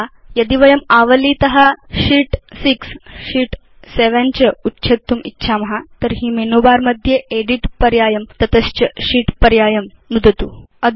यथा यदि वयम् आवलीत शीत् 6 शीत् 7 च उच्छेत्तुम् इच्छाम तर्हि मेनु बर मध्ये एदित् पर्यायं तत च Sheet पर्यायं नुदतु